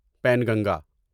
Penganga